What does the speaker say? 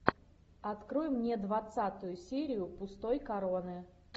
открой мне двадцатую серию пустой короны